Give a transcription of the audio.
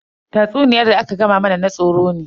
Tatsuniyar da aka gama mana na tsoro ne.